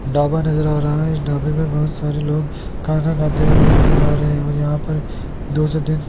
ढाबा नजर आ रहा है डब्बे में बहोत सारे लोग खाना खाते हुए भी नजर आ रहे हैं और यहां पर दो से दिन--